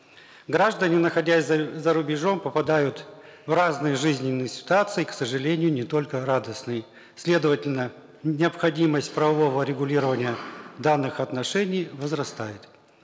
граждане находясь зарубежом попадают в разные жизненные ситуации к сожалению не только радостные следовательно необходимость правового регулирования данных отношений возрастает